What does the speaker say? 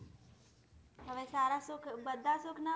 હવે સારા સુખ બધા સુખ ના મળે